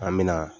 An me na